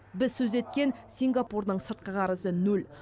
біз сөз еткен сингапурдың сыртқы қарызы нөл